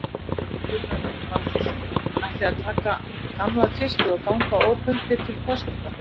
Gunnar Reynir Valþórsson: Ætlið þið að taka gamla tvistið og ganga óbundið til kosninga?